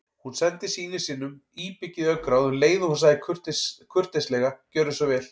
Hún sendi syni sínum íbyggið augnaráð um leið og hún sagði kurteislega: Gjörðu svo vel